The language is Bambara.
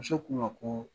Muso k'u ma ko